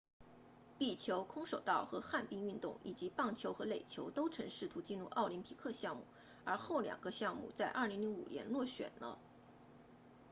壁球空手道和旱冰运动以及棒球和垒球都曾试图进入奥林匹克项目而后两个项目在2005年落选了